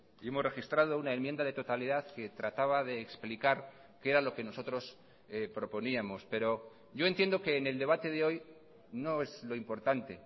y hemos registrado una enmienda de totalidad que trataba de explicar qué era lo que nosotros proponíamos pero yo entiendo que en el debate de hoy no es lo importante